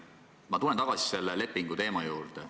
Ma tulen tagasi selle lepinguteema juurde.